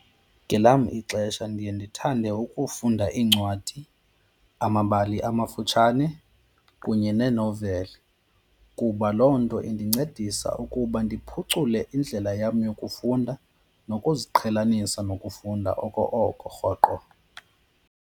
Ngelam ixesha ndiye ndithande ukufunda iincwadi, amabali amafutshane kunye nee-novel kuba loo nto indincedisa ukuba ndiphucule indlela yam yokufunda nokuziqhelanisa nokufunda oko oko, rhoqo.